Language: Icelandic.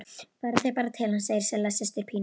Farið þið bara til hans, segir Silla systir Pínu.